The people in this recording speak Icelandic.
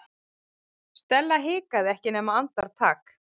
Stella hikaði ekki nema andartak.